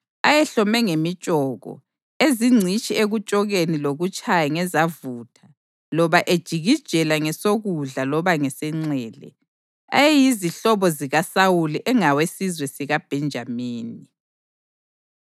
ayehlome ngemitshoko, ezingcitshi ekutshokeni lokutshaya ngezavutha loba ejikijela ngesokudla loba ngesenxele; ayeyizihlobo zikaSawuli engawesizwe sikaBhenjamini):